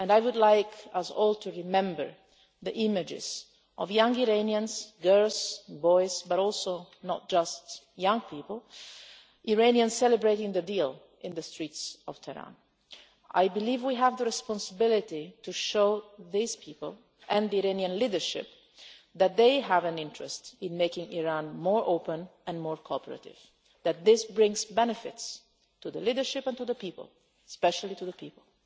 I would like us all to remember the images of young Iranians girls, boys, but also not just young people celebrating the deal in the streets of Tehran. I believe we have the responsibility to show these people and the Iranian leadership that they have an interest in making Iran more open and more cooperative, and that this brings benefits to the leadership and the people especially to the people.